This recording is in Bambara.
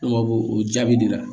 o jaabi de la